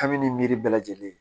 Kabini miiri bɛɛ lajɛlen ye